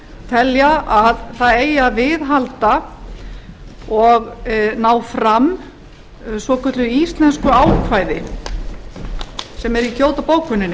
telja að það eigi að viðhalda og ná fram svokölluðu íslensku ákvæði sem er í kyoto bókuninni